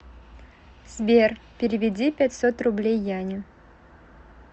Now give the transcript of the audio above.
сбер переведи пятьсот рублей яне